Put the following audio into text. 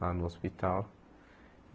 Lá no hospital.